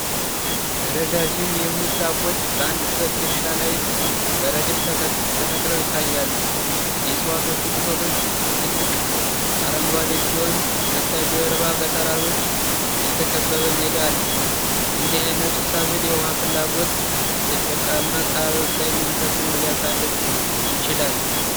ረዣዥም የሙዝ ዛፎች በአንድ ሰፊ እርሻ ላይ በረድፍ ተክለው ይታያሉ። የእጽዋቶቹ ቅጠሎች ጥልቅ አረንጓዴ ሲሆኑ ከበስተጀርባ በተራሮች የተከበበ ሜዳ አለ። የእንደዚህ አይነቱ ሰብል የውሃ ፍላጎት በደረቃማ አካባቢዎች ላይ ምን ተጽዕኖ ሊያሳድር ይችላል?